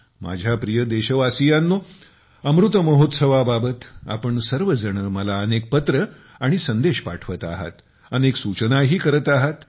माझ्या प्रिय देशवासीयानो अमृत महोत्सवाबाबत आपण सर्वजण मला अनेक पत्र आणि मेसेज पाठवत आहात अनेक सूचनाही करत आहात